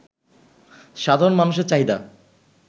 সাধারণ মানুষের চাহিদা